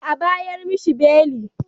Dolle a'bayar mishi beli.